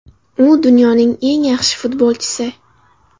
U dunyoning eng yaxshi futbolchisi.